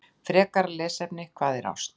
Frekara lesefni: Hvað er ást?